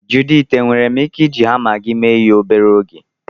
Juditi enwere m ike iji hama gị mee ihe obere oge?